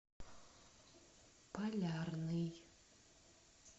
полярный